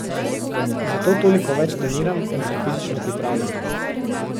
Zato toliko več treniram in se fizično pripravljam.